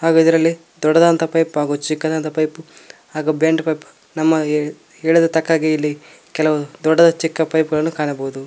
ಹಾಗು ಇದರಲ್ಲಿ ದೊಡ್ಡದಾದಂತಹ ಪೈಪ್ ಹಾಗು ಚಿಕ್ಕದಾದಂತಹ ಪೈಪ್ ಹಾಗು ಬೆಂಡ್ ಪೈಪ್ ನಮ್ಮ ಹೇಳಿದ ತಕ್ಕಾಗೆ ಇಲ್ಲಿ ಕೆಲವು ದೊಡ್ಡದು ಚಿಕ್ಕದು ಪೈಪ್ ಗಳನ್ನು ಕಾಣಬಹುದು.